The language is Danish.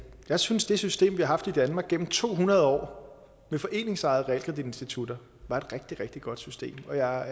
jeg synes at det system vi har haft i danmark igennem to hundrede år med foreningsejede realkreditinstitutter var et rigtig rigtig godt system og jeg